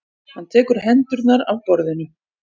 Hann tekur hendurnar af borðinu.